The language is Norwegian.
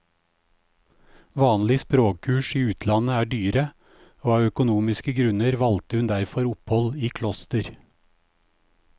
Vanlige språkkurs i utlandet er dyre, og av økonomiske grunner valgte hun derfor opphold i kloster.